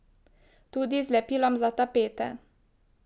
Tudi z lepilom za tapete.